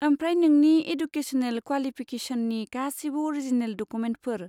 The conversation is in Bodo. आम्फ्राय नोंनि इडुकेस'नेल क्वालिफिकेस'ननि गासैबो अरिजिनेल डकुमेन्टफोर।